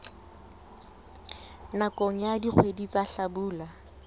nakong ya dikgwedi tsa hlabula